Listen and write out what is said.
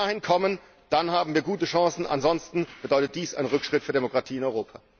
Wenn wir dahin kommen, dann haben wir gute Chancen, ansonsten bedeutet dies einen Rückschritt für die Demokratie in Europa.